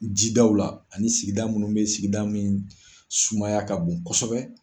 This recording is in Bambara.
Jidaw la ani sigida minnu bɛ sigida min sumaya ka bon kosɛbɛ.